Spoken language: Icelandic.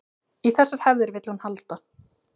Í þessar hefðir vill hún halda